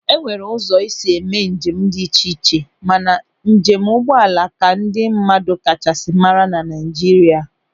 E nwere ụzọ esi eme njem dị iche iche mana njem ụgbọala ka ndị mmadụ kachasị mara na Naịjirịa.